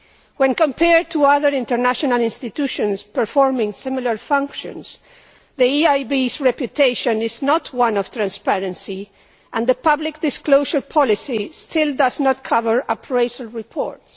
When compared to other international institutions performing similar functions, the EIB's reputation is not one of transparency, and the public disclosure policy still does not cover appraisal reports.